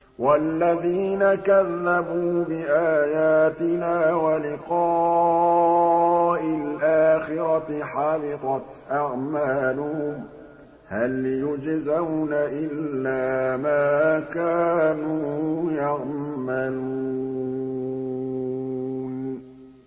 وَالَّذِينَ كَذَّبُوا بِآيَاتِنَا وَلِقَاءِ الْآخِرَةِ حَبِطَتْ أَعْمَالُهُمْ ۚ هَلْ يُجْزَوْنَ إِلَّا مَا كَانُوا يَعْمَلُونَ